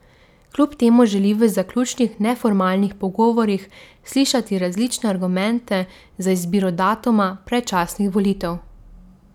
Kljub temu želi v zaključnih neformalnih pogovorih slišati različne argumente za izbiro datuma predčasnih volitev.